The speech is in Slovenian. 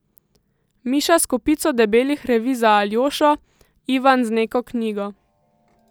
Miša s kopico debelih revij za Aljošo, Ivan z neko knjigo.